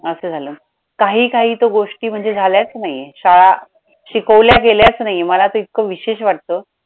असं झालं काही काही तर गोष्टी म्हणजे झाल्याचं नाहीये शाळा शिकवल्या गेल्याचं नाहीये मला तर इतकं विशेष वाटतं.